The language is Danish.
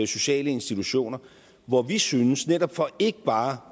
sociale institutioner hvor vi synes netop for ikke bare at